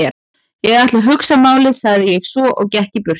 Ég ætla að hugsa málið sagði ég svo og gekk í burtu.